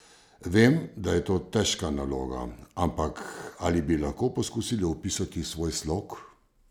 Vem, da je to težka naloga, ampak ali bi lahko poskusili opisati svoj slog?